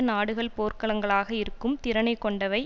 நாடுகள் போர்க்களங்களாக இருக்கும் திறனை கொண்டவை